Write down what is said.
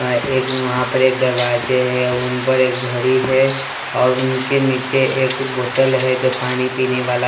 एक वहां पर एक दरवाजे हैं उन पर एक घड़ी है और उनके नीचे एक बोतल है जो पानी पीने वाला।